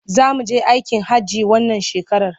Za mu je aikin hajji wannan shekarar.